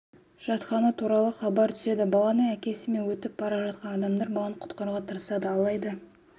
жатқаны туралы хабар түседі баланың әкесі мен өтіп бара жатқан адамдар баланы құтқаруға тырысады алайда